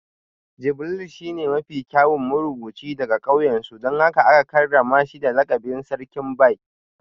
Jibril shine mafi kyawun marubuci daga kauyensu don haka aka karrama shi da lakabin Sarkin Bai